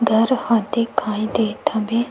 घर ह दिखाई देत हवे।